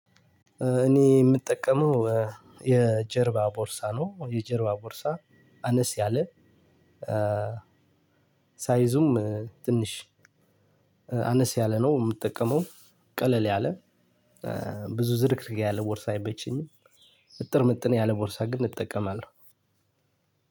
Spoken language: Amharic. እኔ የምጠቀመው የጀርባ ቦርሳ ነው። የጀርባ ቦርሳ አነስ ያለ ሳይዙም ትንሽ አነስ ያለ ነው። የምጠቀመው ቀለል ያለ ብዙ ዝርክርክ ያለ ቦርሳ አይመቸኝም። ዕጥርምጥን ያለ ቦርሳ ግን እጠቀማለሁ።